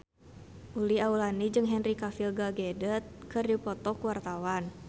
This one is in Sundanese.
Uli Auliani jeung Henry Cavill Gal Gadot keur dipoto ku wartawan